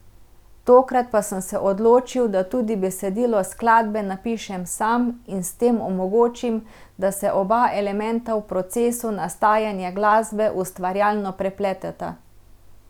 Tokrat pa sem se odločil, da tudi besedilo skladbe napišem sam in s tem omogočim, da se oba elementa v procesu nastajanja glasbe ustvarjalno prepleteta.